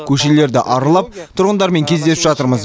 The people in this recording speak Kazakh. көшелерді аралап тұрғындармен кездесіп жатырмыз